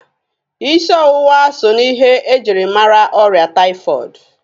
isiọwụwa so na ihe e jiri mara ọrịa taifọọdụ.